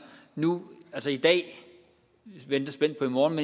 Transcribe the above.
nu altså i dag og vi venter spændt på i morgen